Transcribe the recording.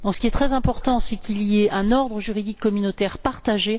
Ce qui est très important, c'est qu'il y ait un ordre juridique communautaire partagé.